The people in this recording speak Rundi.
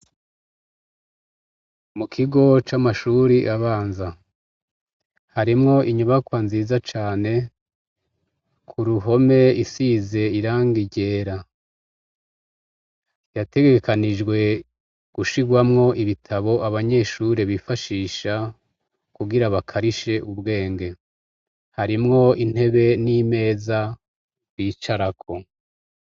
Mukigo c’amashure abanza, harimwo inyubakwa nziza cane kuruhome isize irangi ryera, yategekanijwe gushirwamwo ibitabo abanyeshure bifashisha kugira bakarishe ubwenge. Harimwo intebe n’imeza bicarako.